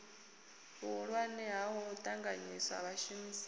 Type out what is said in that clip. vhuhulwane ha u ṱanganyisa vhashumisani